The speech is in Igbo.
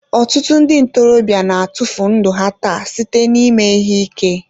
Ọtụtụ ndị ntorobịa na-atụfu ndụ ha taa site n'ime ihe ike.